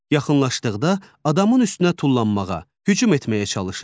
Yaxınlaşdıqda adamın üstünə tullanmağa, hücum etməyə çalışır.